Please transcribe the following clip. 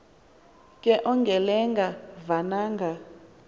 ke ongelenga vananga